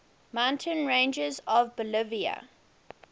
mountain ranges of bolivia